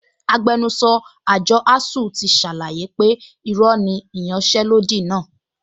Agbẹnusọ àjọ ASUU ti ṣàlàyé pé irọ́ ni ìyanṣẹ́lódì náà